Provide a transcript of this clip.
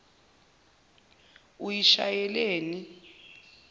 uyishayeleni